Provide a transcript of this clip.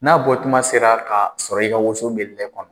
N'a bɔ kuma sera ka sɔrɔ i ka woson be bɛ kɔnɔ